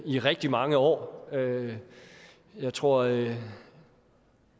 i rigtig mange år jeg tror at